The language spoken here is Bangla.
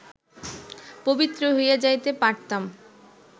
পবিত্র হইয়া যাইতে পারতাম